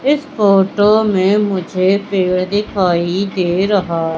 इस फोटो में मुझे पेड़ दिखाई दे रहा--